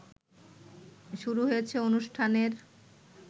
শুরু হয়েছে অনুষ্ঠানের